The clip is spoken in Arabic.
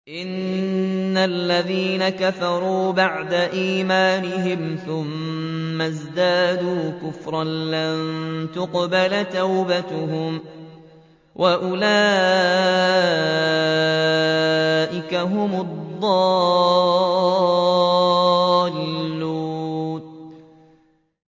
إِنَّ الَّذِينَ كَفَرُوا بَعْدَ إِيمَانِهِمْ ثُمَّ ازْدَادُوا كُفْرًا لَّن تُقْبَلَ تَوْبَتُهُمْ وَأُولَٰئِكَ هُمُ الضَّالُّونَ